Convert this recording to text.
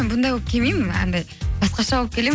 бұндай болып келмеймін анандай басқаша болып келемін